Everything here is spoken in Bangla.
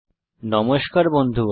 নমস্কার বন্ধুগণ